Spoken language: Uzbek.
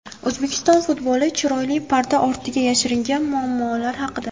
O‘zbekiston futboli: chiroyli parda ortiga yashiringan muammolar haqida.